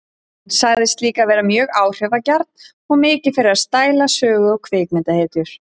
Hann sagðist líka vera mjög áhrifagjarn og mikið fyrir að stæla sögu- og kvikmyndahetjur.